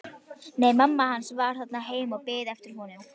Nei, mamma hans var þarna heima og beið eftir honum.